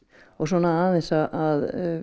og svona aðeins að